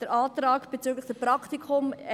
Zum Antrag 1e bezüglich Praktika: